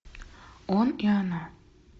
он и она